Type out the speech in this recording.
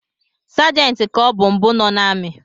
Segenti ka ọbụ mbụ nọ n’ami